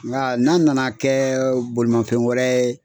Nga n'a nana kɛ bolimanfɛn wɛrɛ ye